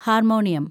harmonium